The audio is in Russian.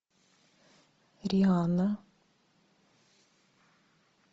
рианна